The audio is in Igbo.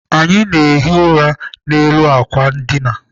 Anyị na-ehi ụra n'elu àkwà ndina.